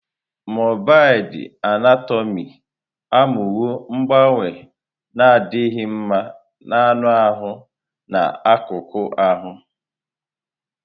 Mọrbịd Anatomị amụwo mgbanwe na-adịghị mma na anụ ahụ na akụkụ ahụ.